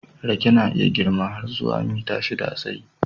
Rake na iya girma har zuwa mita shidda a tsayi.